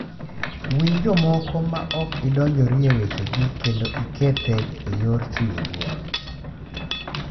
Winj jomoko ma ok idonjori e wechegi kendo ike thek e yor chiwo luor.